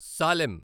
Salem